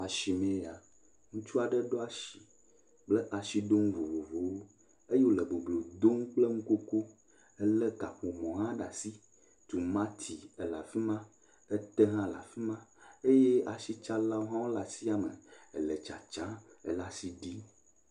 Asime eya, ŋutsu aɖe ɖo asi kple asiɖonu vovovowo eye wole boblo dom kple nukoko hele kaƒomɔ hã ɖe asi. Tomati le afi ma, te hã le afi ma ye asitsalawo hã le asia me ele tsatsam le asi ɖim.